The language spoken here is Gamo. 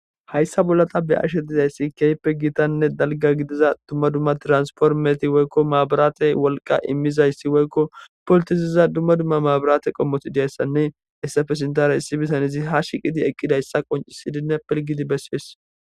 Hayssa bolla ta be'ashe dizaysii keehippe gitanne dalgga gidiza dumma dumma transformeti woyko mabrate wolqqa immizayssi woyko pultisiza dumma dumma mabrate qommoti diyayssanne hesappe sintara issi bitanezi haa shiiqidi eqqidayssa qonccisidinne pilgidi besees.